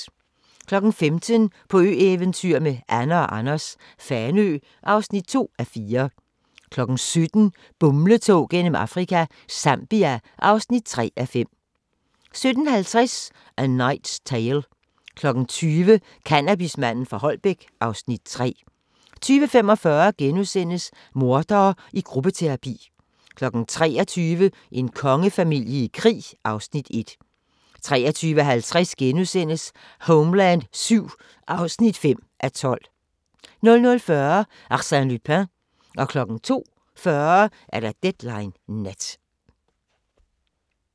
15:00: På ø-eventyr med Anne & Anders - Fanø (2:4) 17:00: Bumletog gennem Afrika – Zambia (3:5) 17:50: A Knight's Tale 20:00: Cannabismanden fra Holbæk (Afs. 3) 20:45: Mordere i gruppeterapi * 23:00: En kongefamilie i krig (Afs. 1) 23:50: Homeland VII (5:12)* 00:40: Arsène Lupin 02:40: Deadline Nat